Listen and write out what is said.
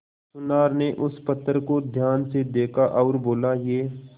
सुनार ने उस पत्थर को ध्यान से देखा और बोला ये